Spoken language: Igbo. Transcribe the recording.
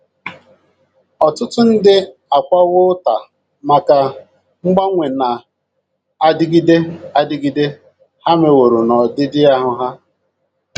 Ọtụtụ ndị akwawo ụta maka mgbanwe na - adịgide adịgide ha meworo n’ọdịdị ahụ́ ha.